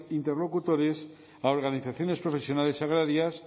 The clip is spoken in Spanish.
interlocutores a organizaciones profesionales agrarias